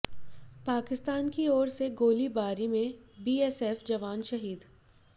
पाकिस्तान की ओर से गोलीबारी में बीएसएफ जवान शहीद